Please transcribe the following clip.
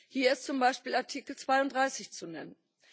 Hier ist zum Beispiel Artikel 32 zu nennen.